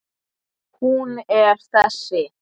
Hún er þessi